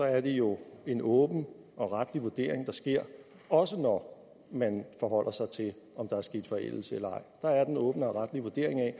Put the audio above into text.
er det jo en åben og retlig vurdering der sker også når man forholder sig til om der er sket forældelse eller ej der er den åbne og retlige vurdering af